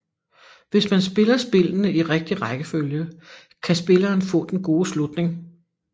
Hvis man spiller spillene i rigtig rækkefølge kan spilleren få den gode slutning